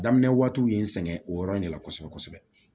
Daminɛ waatiw ye n sɛgɛn o yɔrɔ in de la kosɛbɛ kosɛbɛ